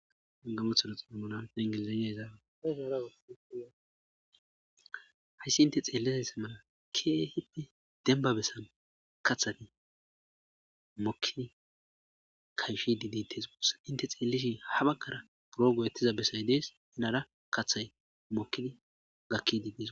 Angamothana xilmonan hengelizaniya ezaabea hayssi inte xeelishayssa mala keehippe denbabessan kathani mokin kayfi didites gusa inte xeellishin habakkara duro goyettiza bessay dees henara kaththay mokkini gakki didis.